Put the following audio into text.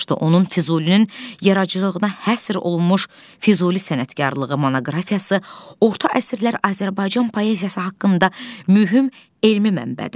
Onun Füzulinin yaradıcılığına həsr olunmuş Füzuli sənətkarlığı monoqrafiyası orta əsrlər Azərbaycan poeziyası haqqında mühüm elmi mənbədir.